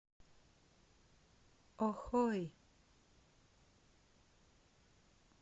охой